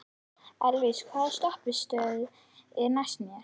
Elvis, hvaða stoppistöð er næst mér?